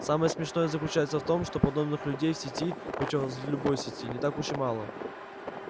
самое смешное заключается в том что подобных людей в сети причём в любой сети не так уж и мало